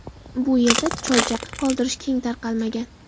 Bu yerda choychaqa qoldirish keng tarqalmagan.